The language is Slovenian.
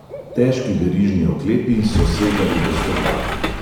Težki verižni oklepi so segali do stopal.